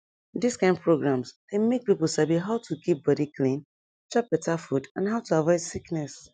dis kind programs dey make people sabi about how to keep body clean chop better food and how to avoid sickness